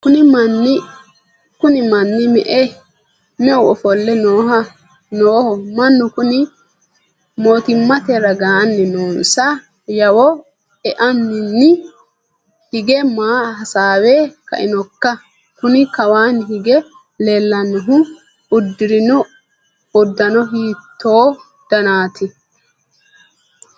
kuni manni meu ofo'le nooho mannu kuni mootimmate ragaanni noonsa yawo iaanaanni hige maa hasaawe kainokka? kuni kawaanni hige leellannohu uddirino uddano hiitto danite?